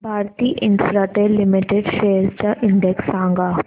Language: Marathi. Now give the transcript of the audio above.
भारती इन्फ्राटेल लिमिटेड शेअर्स चा इंडेक्स सांगा